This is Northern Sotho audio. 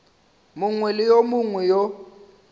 mongwe le yo mongwe yo